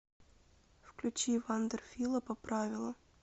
включи вандер фила поправила